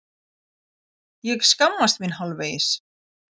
Ég skammast mín hálfvegis.